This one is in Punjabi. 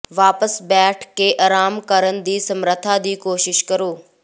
ਵਾਪਸ ਬੈਠ ਕੇ ਆਰਾਮ ਕਰਨ ਦੀ ਸਮਰੱਥਾ ਦੀ ਕੋਸ਼ਿਸ਼ ਕਰੋ